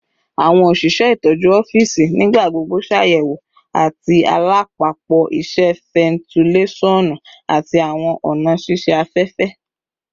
Awọn oṣiṣẹ itọju ọfiisi nigbagbogbo ṣayẹwo ati alapapo iṣẹ, fentilesonu, ati awọn ọna ṣiṣe afẹfẹ